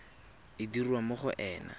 e dirwa mo go ena